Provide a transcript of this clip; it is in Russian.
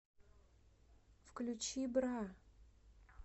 включи бра